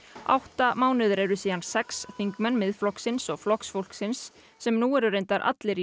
átta mánuðir eru síðan sex þingmenn Miðflokksins og Flokks fólksins sem nú eru reyndar allir í